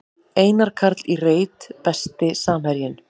Einar Karl í reit Besti samherjinn?